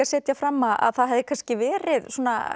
setja fram að það hefði kannski verið